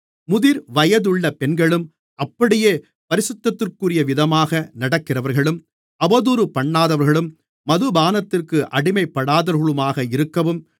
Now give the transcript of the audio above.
முதிர்வயதுள்ள பெண்களும் அப்படியே பரிசுத்தத்திற்குரியவிதமாக நடக்கிறவர்களும் அவதூறுபண்ணாதவர்களும் மதுபானத்திற்கு அடிமைப்படாதவர்களுமாக இருக்கவும்